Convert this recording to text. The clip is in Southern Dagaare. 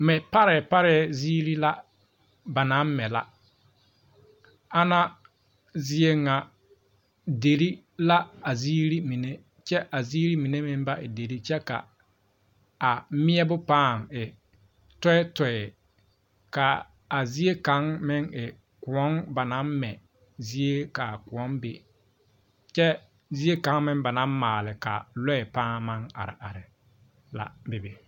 Pare pare ziiri la ba naŋ mɛ la ana zie ŋa deri la a ziiri mine kyɛ ka a ziiri mine. meŋ ba e deri kyɛ ka a meɛbo paa e toitoe ka a zie kaŋa meŋ e koɔ ba naŋ mɛ zie ka a koɔ be kyɛ zie kaŋa meŋ ba na maale ka lɔɛ maŋ are are la be be.